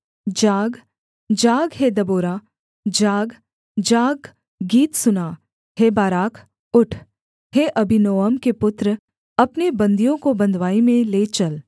जाग जाग हे दबोरा जाग जाग गीत सुना हे बाराक उठ हे अबीनोअम के पुत्र अपने बन्दियों को बँधुआई में ले चल